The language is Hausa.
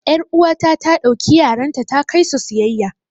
yar'uwata ta ɗauki yaranta ta kai su siyayya